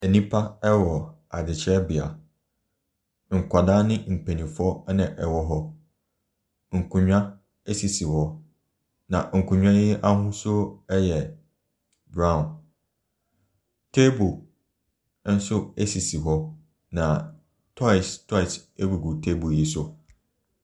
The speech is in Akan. Nnipa wɔ adekyerɛbea. Nkwadaa ne mpanimfoɔ na wɔwɔ hɔ. Nkonnwa sisi hɔ, na nkonnwa yi ahosuo yɛ brown. Table nso sisi hɔ, na toys toys gugu table yi so.